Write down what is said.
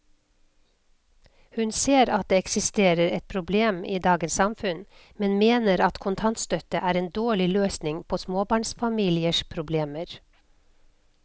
Hun ser at det eksisterer et problem i dagens samfunn, men mener at kontantstøtte er en dårlig løsning på småbarnsfamiliers problemer.